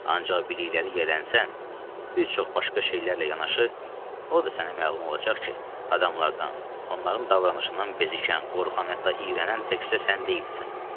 Ancaq bilikləri yələnsən, bir çox başqa şeylərlə yanaşı, o da sənə məlum olacaq ki, adamlardan, onların davranışından bezikən, qorxan, hətta iyrənən təkcə sən deyilsən.